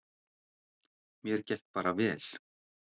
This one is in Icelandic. Mér gekk bara vel.